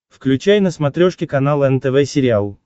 включай на смотрешке канал нтв сериал